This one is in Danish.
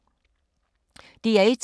DR1